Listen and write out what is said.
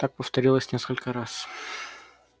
так повторилось несколько раз